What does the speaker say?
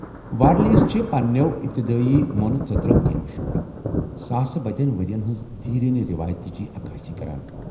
وارلیس چھ پننیو ابتدٲیی مونہٕ ژِترو٘ كِنۍ مشہوٗر، ساسہٕ بٔدین ورین ہنزِ دیرینہٕ ریوایتچہِ عکٲسی كران ۔